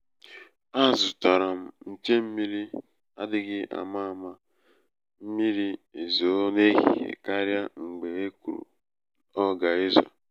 a zụtara m nche um mmiri adịghị ama ama mmiri ezoo n'ehihie karịa mgbe e kwuru ọ ga-ezo.